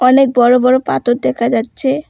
অনেক বড়ো বড়ো পাথর দেখা যাচ্ছে।